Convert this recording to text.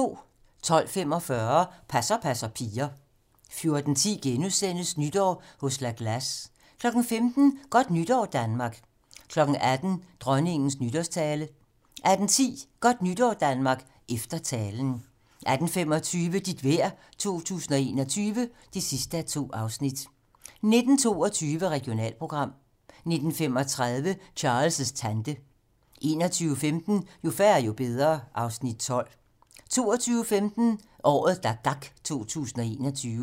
12:45: Passer passer piger 14:10: Nytår hos La Glace * 15:00: Godt nytår, Danmark 18:00: Dronningens nytårstale 18:10: Godt Nytår Danmark - efter talen 18:25: Dit vejr 2021 (2:2) 19:22: Regionalprogram 19:35: Charles' tante 21:15: Jo færre, jo bedre (Afs. 12) 22:15: Året, der gak 2021